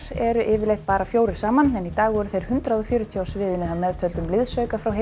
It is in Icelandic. eru yfirleitt bara fjórir saman en í dag voru þeir hundrað og fjörutíu á sviðinu að meðtöldum liðsauka frá heilli